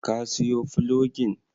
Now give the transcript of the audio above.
Ka siyo fulogin?